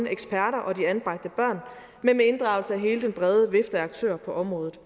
eksperter og de anbragte børn men en inddragelse af hele den brede vifte af aktører på området